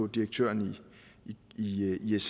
direktøren i iss